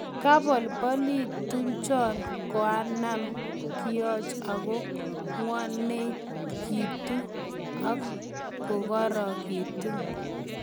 Kabolbolituchon koanan kioch ago ngw'onekitu ak kokorekitun.